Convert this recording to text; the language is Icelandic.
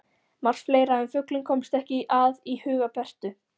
Margt fleira en fuglinn komst ekki að í huga Bertu.